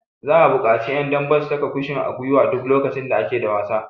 Za'a buƙaci ƴan dambe su saka kushin gwiwa duk lokacin da ake da wasa.